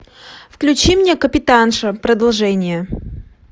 включи мне капитанша продолжение